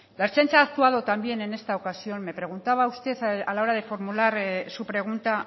la ertzaintza ha actuado también en esta ocasión me preguntaba usted a la hora de formular su pregunta